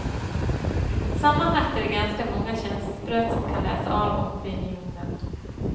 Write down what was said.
Sammanlagt är det ganska många känselspröt som kan läsa av opinionen.